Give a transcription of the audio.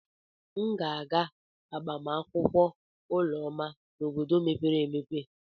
M ga-aga agbamakwụkwọ Ụlọma n'obodo mepere emepe.